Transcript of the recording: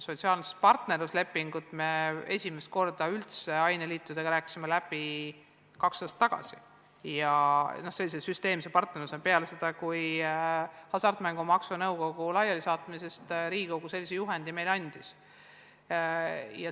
Sotsiaalset partnerluslepingut me esimest korda üldse aineliitudega rääkisime läbi kaks aastat tagasi, sellise süsteemse partnerluse mõttes, siis kui Riigikogu pärast hasartmängumaksu nõukogu laialisaatmist meile sellise juhendi andis.